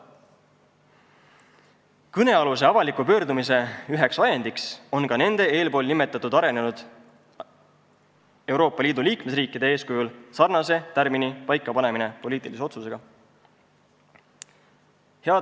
Kõnealuse avaliku pöördumise üheks ajendiks on ka taotlus, et nende eespool nimetatud arenenud Euroopa Liidu liikmesriikide eeskujul pannakse meil poliitilise otsusega paika sarnane tärmin.